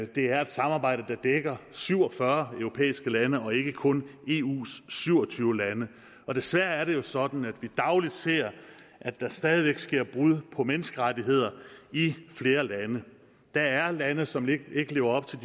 det er et samarbejde der dækker syv og fyrre europæiske lande og ikke kun eus syv og tyve lande og desværre er det jo sådan at vi dagligt ser at der stadig væk sker brud på menneskerettighederne i flere lande der er lande som ikke lever op til